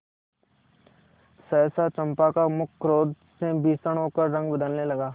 सहसा चंपा का मुख क्रोध से भीषण होकर रंग बदलने लगा